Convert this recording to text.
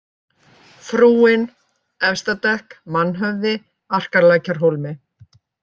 Frúin, Efstadekk, Mannhöfði, Arkarlækjarhólmi